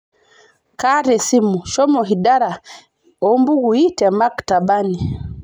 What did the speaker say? kaata esimu shomo hidara oo imbukuui te maktabani